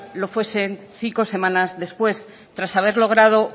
lo fuesen cinco semanas después tras haber logrado